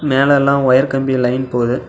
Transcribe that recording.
மேல எல்லாம் ஒயர் கம்பி லைன் போது.